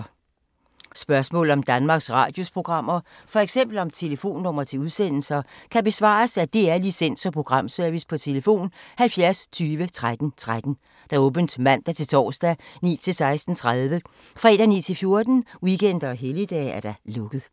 Spørgsmål om Danmarks Radios programmer, f.eks. om telefonnumre til udsendelser, kan besvares af DR Licens- og Programservice: tlf. 70 20 13 13, åbent mandag-torsdag 9.00-16.30, fredag 9.00-14.00, weekender og helligdage: lukket.